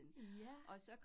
Ja